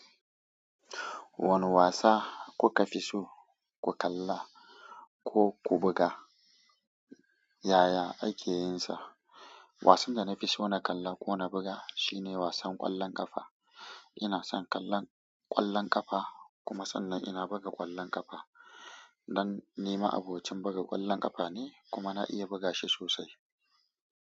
Wane wasa kuka fi so ku kalla ko ku buga? Yaya ake yin sa? Wasan da na fi so na kalla ko na buga shine wasan ƙwallon ƙafa. Ina son kallon ƙwallon ƙafa kuma sannan ina buga ƙwallon ƙafa. Ɗan nema abokin buga ƙwallon ƙafa ne kuma na iya buga shi sosai.